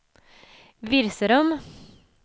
Virserum